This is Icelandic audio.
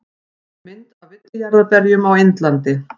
Mynd af villijarðarberjum á Indlandi.